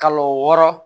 Kalo wɔɔrɔ